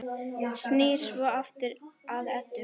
Snýr svo aftur að Eddu.